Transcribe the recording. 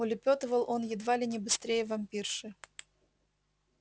улёпетывал он едва ли не быстрее вампирши